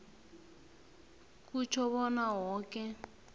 kutjho bona woke